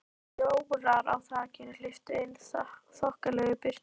Ljórar á þakinu hleyptu inn þokkalegri birtu.